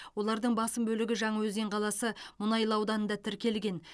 олардың басым бөлігі жаңаөзен қаласы мұнайлы ауданында тіркелген